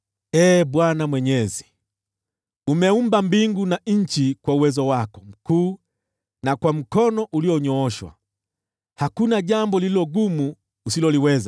“Ee Bwana Mwenyezi, umeumba mbingu na nchi kwa uwezo wako mkuu na kwa mkono ulionyooshwa. Hakuna jambo lililo gumu usiloliweza.